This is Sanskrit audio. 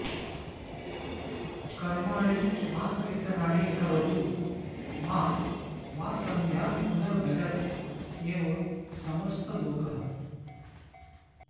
कर्माणि मातरितराणि करोतु मा वा सन्ध्यां पुनर्भजत एव समस्तलोकः